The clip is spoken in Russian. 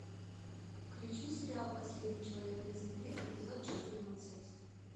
включи сериал последний человек на земле эпизод четырнадцать